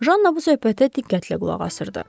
Janna bu söhbətə diqqətlə qulaq asırdı.